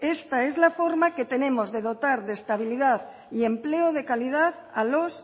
esta es la forma que tenemos de dotar de estabilidad y empleo de calidad a los